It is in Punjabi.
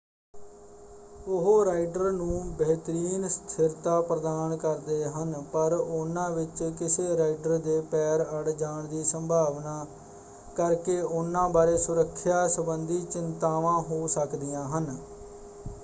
ਉਹ ਰਾਈਡਰ ਨੂੰ ਬਿਹਤਰੀਨ ਸਥਿਰਤਾ ਪ੍ਰਦਾਨ ਕਰਦੇ ਹਨ ਪਰ ਉਹਨਾਂ ਵਿੱਚ ਕਿਸੇ ਰਾਈਡਰ ਦੇ ਪੈਰ ਅੜ ਜਾਣ ਦੀ ਸੰਭਾਵਨਾ ਕਰਕੇ ਉਹਨਾਂ ਬਾਰੇ ਸੁਰੱਖਿਆ ਸੰਬੰਧੀ ਚਿੰਤਾਵਾਂ ਹੋ ਸਕਦੀਆਂ ਹਨ।